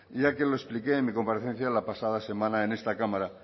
ya que lo expliqué en mi comparecencia la pasada semana en esta cámara